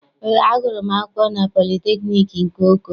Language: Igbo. Eé, agụrụ m akwụkwọ na politekniik nke Oko.